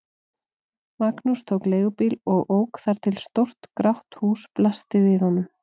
Magnús tók leigubíl og ók þar til stórt grátt hús blasti við honum.